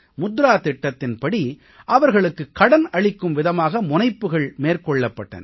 முத்ரா திட்டத்தின்படி அவர்களுக்கு கடன் அளிக்கும் விதமாக முனைப்புகள் மேற்கொள்ளப்பட்டன